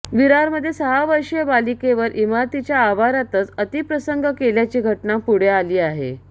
विरारमध्ये सहा वर्षीय बालिकेवर इमारतीच्या आवारातच अतिप्रसंग केल्याची घटना पुढे आली आहे